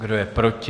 Kdo je proti?